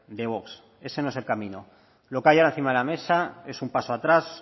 de vox ese no es el camino lo que hay ahora encima de la mesa es un paso atrás